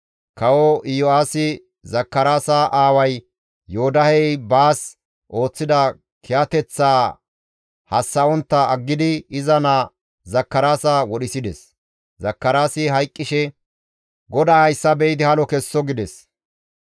Kawo Iyo7aasi Zakaraasa aaway Yoodahey baas ooththida kiyateththaa hassa7ontta aggidi iza naa Zakaraasa wodhisides; Zakaraasi hayqqishe, «GODAY hayssa be7idi halo kesso» gides.